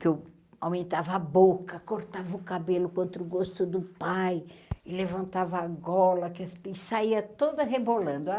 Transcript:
que eu aumentava a boca, cortava o cabelo contra o gosto do pai, e levantava a gola, que as saía toda rebolando.